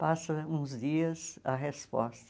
Passam uns dias a resposta.